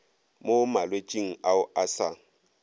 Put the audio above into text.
mo malwetšing ao a sa